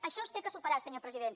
això s’ha de superar senyor president